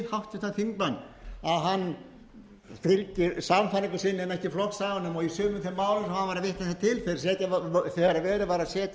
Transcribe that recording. háttvirtan þingmann að hann fylgi sannfæringu sinni en ekki flokksaganum og í sumum þeim málum sem hann var að vitna hér til þegar verið var